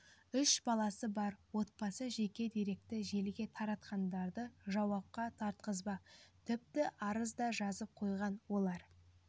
үш баласы бар отбасы жеке деректі желіге таратқандарды жауапқа тартқызбақ тіпті арыз да жазып қойған олар